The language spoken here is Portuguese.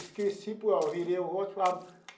Esqueci por ah virei o rosto para o lado.